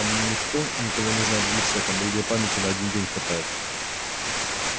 там никто никого не знает в лицо там у людей памяти на один день хватает